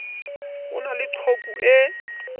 ho na le qhoku e